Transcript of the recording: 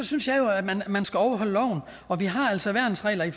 synes jo at man man skal overholde loven og vi har altså værnsregler i